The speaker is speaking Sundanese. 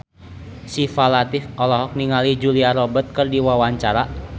Syifa Latief olohok ningali Julia Robert keur diwawancara